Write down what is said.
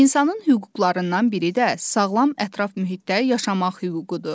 İnsanın hüquqlarından biri də sağlam ətraf mühitdə yaşamaq hüququdur.